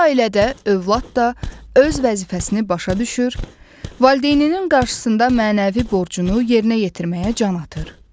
Belə ailədə övlad da öz vəzifəsini başa düşür, valideyninin qarşısında mənəvi borcunu yerinə yetirməyə can atır.